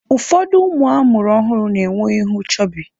Ụfọdụ ụmụ a mụrụ ọhụrụ na-enwe ihu chọbị.